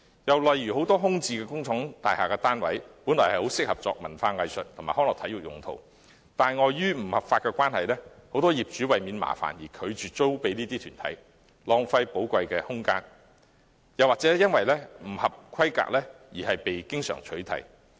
又例如很多空置工廠大廈單位原本很適合作文化藝術及康樂體育用途，但礙於法例規定，不少業主為免麻煩而拒絕出租予這些團體，浪費寶貴空間；亦經常有單位因為不合規格而被取締。